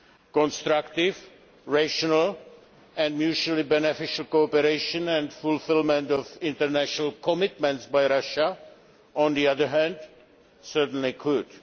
Constructive, rational and mutually beneficial cooperation and fulfilment of international commitments by Russia, on the other hand, certainly could.